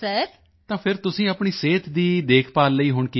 ਤਾਂ ਫਿਰ ਤੁਸੀਂ ਆਪਣੀ ਸਿਹਤ ਦੀ ਦੇਖਭਾਲ ਲਈ ਹੁਣ ਕੀ ਕਰ ਰਹੇ ਹੋ